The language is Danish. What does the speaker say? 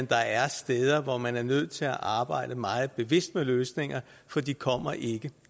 der er steder hvor man er nødt til at arbejde meget bevidst med løsninger for de kommer ikke